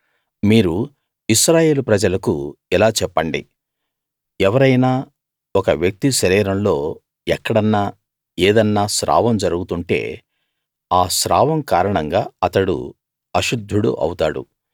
మీరు ఇశ్రాయేలు ప్రజలకు ఇలా చెప్పండి ఎవరైనా ఒక వ్యక్తి శరీరంలో ఎక్కడన్నా ఏదన్నా స్రావం జరుగుతుంటే ఆ స్రావం కారణంగా అతడు అశుద్ధుడు అవుతాడు